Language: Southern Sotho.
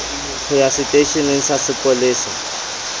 ho ya seteisheneng sa sepolesa